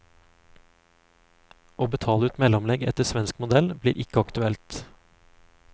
Å betale ut mellomlegg etter svensk modell, blir ikke aktuelt.